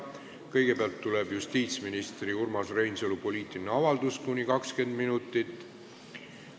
Kõigepealt on justiitsminister Urmas Reinsalu poliitiline avaldus kuni 20 minutit.